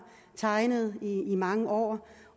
tegnet i mange år